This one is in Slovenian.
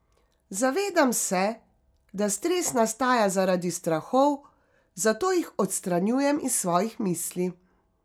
Zavedam se, da stres nastaja zaradi strahov, zato jih odstranjujem iz svojih misli.